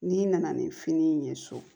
N'i nana ni fini ye so